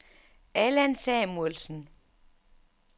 Allan Samuelsen